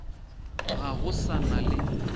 ga go sa na le